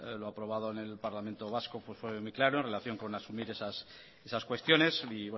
lo aprobado en el parlamento vasco fue muy claro en relación con asumir esas cuestiones y